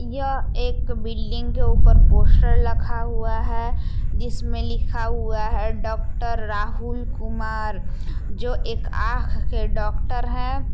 यह एक बिल्डिंग के ऊपर पोस्टर लखा हुआ है। जिसमें लिखा हुआ है डॉक्टर राहुल कुमार । जो एक आंख के डॉक्टर हैं।